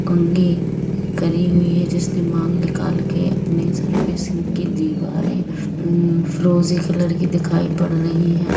कंघी करी हुई है जिसने मांग निकाल के अपने सर पे सिंह की दीवारें यम फीरोजी कॉलर की दिखाई पड़ रही है।